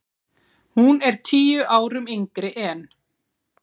Hún er tíu árum yngri en